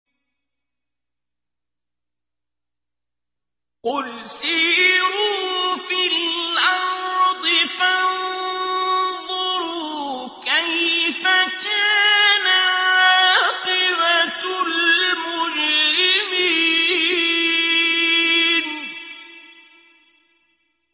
قُلْ سِيرُوا فِي الْأَرْضِ فَانظُرُوا كَيْفَ كَانَ عَاقِبَةُ الْمُجْرِمِينَ